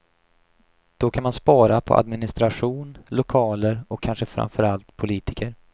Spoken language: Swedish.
Då kan man spara på administration, lokaler och kanske framför allt politiker.